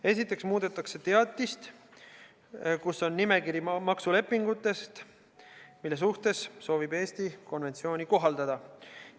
Esiteks muudetakse teatist, kus on nimekiri maksulepingutest, mille suhtes soovib Eesti konventsiooni kohaldada.